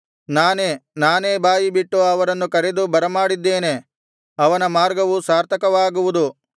ನಾನೇ ನಾನೇ ಬಾಯಿಬಿಟ್ಟು ಅವನನ್ನು ಕರೆದು ಬರಮಾಡಿದ್ದೇನೆ ಅವನ ಮಾರ್ಗವು ಸಾರ್ಥಕವಾಗುವುದು